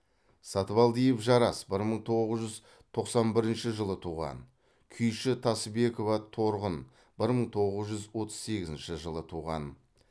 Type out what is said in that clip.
сатыбалдиев жарас бір мың тоғыз жүз тоқсан бірінші жылы туған күйші тасыбекова торғын бір мың тоғыз жүз отыз сегізінші жылы туған